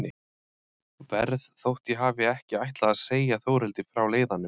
Verð þótt ég hafi ekki ætlað að segja Þórhildi frá leiðanum.